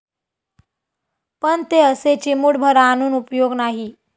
पण ते असे चिमुटभर आणून उपयोग नाही.